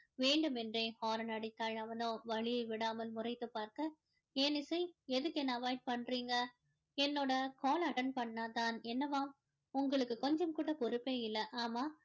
வேண்டுமென்றே horn அடித்தால் அவனோ வழியை விடாமல் முறைத்து பார்க்க ஏன் இசை எதுக்கு என்ன avoid பண்றீங்க என்னோட call ல attend பண்ணாதான் என்னவாம் உங்களுக்கு கொஞ்சம் கூட பொறுப்பே இல்ல ஆமா